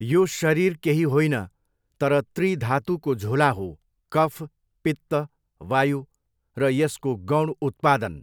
यो शरीर केही होइन तर त्रि धानुको झोला हो कफ, पित्त, वायु र यसको गौण उत्पादन।